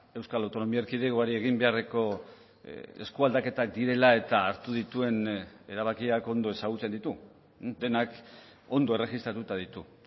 euskal autonomia erkidegoari egin beharreko eskualdaketak direla eta hartu dituen erabakiak ondo ezagutzen ditu denak ondo erregistratuta ditu